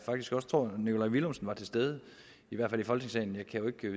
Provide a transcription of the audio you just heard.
nikolaj villumsen også var til stede i hvert fald i folketingssalen jeg